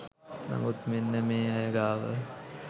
නමුත් මෙන්න මේ අය ගාව